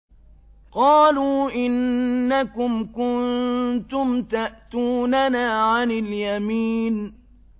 قَالُوا إِنَّكُمْ كُنتُمْ تَأْتُونَنَا عَنِ الْيَمِينِ